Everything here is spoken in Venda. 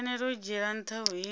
fanela u dzhiela ntha vhuimo